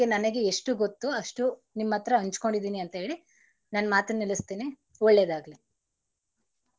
ಬಗ್ಗೆ ಎಷ್ಟು ಗೊತ್ತೋ ಅಷ್ಟು ನಿಮ್ಮತ್ರ ಹಂಚ್ಕೋಂಡಿದೀನಿ ಅಂತೇಳಿ ನನ್ ಮಾತನ್ನ ನಿಲ್ಲಿಸ್ತೀನಿ ಒಳ್ಳೇದಾಗಲಿ.